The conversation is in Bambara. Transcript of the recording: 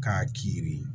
K'a k'i yiri ye